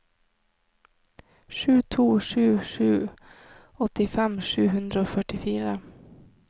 sju to sju sju åttifem sju hundre og førtifire